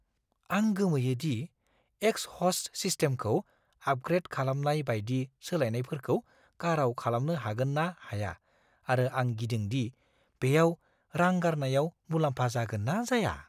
आं गोमोयो दि एक्सहस्ट सिस्टेमखौ आपग्रेद खालामनाय बायदि सोलायनायफोरखौ काराव खालामनो हागोन ना हाया आरो आं गिदों दि बेयाव रां गारनायाव मुलाम्फा जागोन ना जाया।